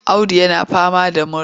Audu yana fama da mura.